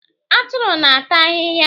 Atụrụ na- ata ahịhịa.